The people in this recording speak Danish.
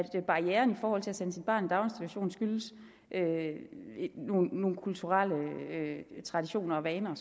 at barrieren i forhold til at sende sit barn i daginstitution skyldes nogle kulturelle traditioner og vaner